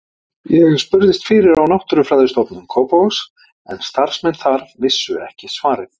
Ég spurðist fyrir á Náttúrufræðistofu Kópavogs en starfsmenn þar vissu ekki svarið.